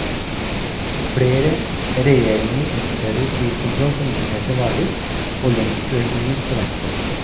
Flere regjeringer innfører priskontroll på importerte varer, og lønnsøkninger forventes.